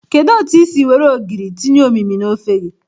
Kedu otu i siri were ogiri tinye omimi na ofe gi?